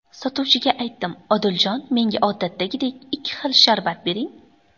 Sotuvchiga aytdim: ‘Odiljon, menga odatdagidek ikki xil sharbat bering‘.